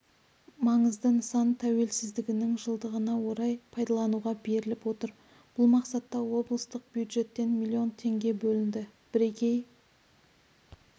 маңызды нысан тәуелсіздігінің жылдығына орай пайдалануға беріліп отыр бұл мақсатта облыстық бюджеттен миллион теңге бөлінді бірегей